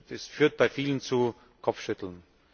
Das führt bei vielen zu Kopfschütteln.